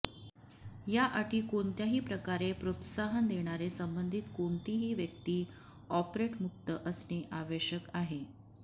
या अटी कोणत्याही प्रकारे प्रोत्साहन देणारे संबंधित कोणतीही व्यक्ती ऑपरेट मुक्त असणे आवश्यक आहे